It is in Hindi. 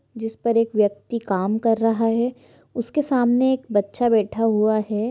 जिस पर एक व्यक्ति काम कर रहा है उसके सामने बच्चा बैठा हुआ है